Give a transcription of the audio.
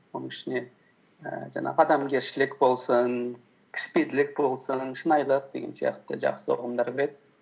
оның ішіне ііі жаңағы адамгершілік болсын кішіпейілділік болсын шынайылық деген сияқты жақсы ұғымдар кіреді